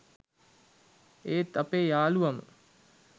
ඒත් අපේ යාලුවම